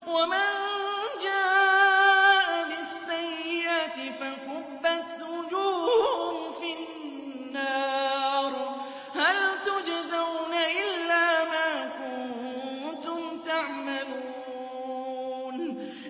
وَمَن جَاءَ بِالسَّيِّئَةِ فَكُبَّتْ وُجُوهُهُمْ فِي النَّارِ هَلْ تُجْزَوْنَ إِلَّا مَا كُنتُمْ تَعْمَلُونَ